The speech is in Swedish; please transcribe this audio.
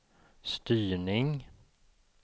styrning